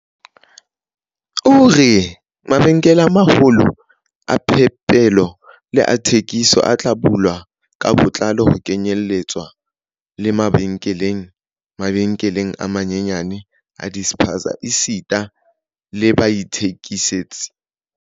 O re, mabenkele a ma-holo a phepelo le a thekiso a tla bulwa ka botlalo, ho kenyeletswa le mabenkele, mabenkele a manyenyane a di-spaza esita le baithekisetsi.